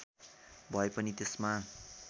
भए पनि त्यसमा